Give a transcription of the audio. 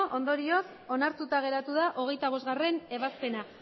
ondorioz onartuta geratu da hogeita bostgarrena ebazpena